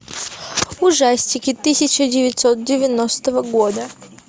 ужастики тысяча девятьсот девяностого года